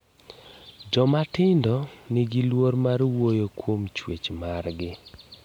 Jomatindo nigi luoro mar wuoyo kuom chuech mar gi.